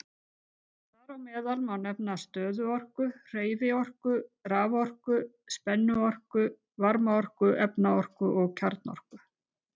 Þar á meðal má nefna stöðuorku, hreyfiorku, raforku, spennuorku, varmaorku, efnaorku og kjarnorku.